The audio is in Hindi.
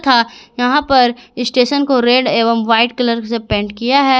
तथा यहां पर स्टेशन को रेड एवं व्हाइट कलर से पेंट किया है।